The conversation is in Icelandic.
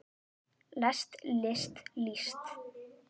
lest list líst